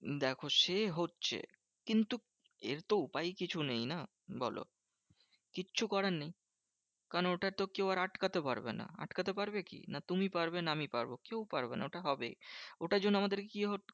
দেখো সে হচ্ছে। কিন্তু এর তো উপায় কিছু নেই না? বোলো, কিচ্ছু করার নেই। কারণ ওটা তো কেউ আর আটকাতে পারবে না। আটকাতে পারবে কি? না তুমি পারবে না আমি পারবো। কেউ পারবে না, ওটা হবেই। ওটার জন্য আমাদের কি